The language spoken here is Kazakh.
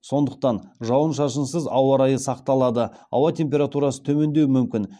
сондықтан жауын шашынсыз ауа райы сақталады ауа температурасы төмендеуі мүмкін